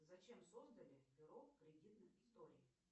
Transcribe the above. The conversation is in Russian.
зачем создали бюро кредитных историй